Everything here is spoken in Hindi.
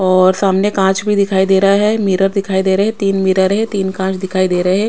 और सामने कांच भी दिखाई दे रहा है मिरर दिखाई दे रहा है तीन मिरर है तीन कांच दिखाई दे रहे --